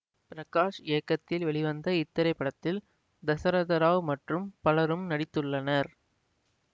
பிரகாஷ் இயக்கத்தில் வெளிவந்த இத்திரைப்படத்தில் தசரத ராவ் மற்றும் பலரும் நடித்துள்ளனர்